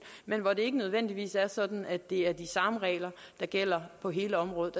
men hvor det ikke nødvendigvis er sådan at det er de samme regler der gælder på hele området